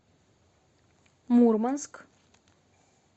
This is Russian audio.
мурманск